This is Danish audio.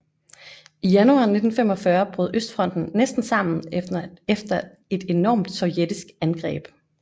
I januar 1945 brød østfronten næsten sammen efter et enormt sovjetisk angreb